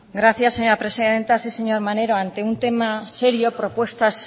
gracias señora presidenta sí señor maneiro ante un tema serio propuestas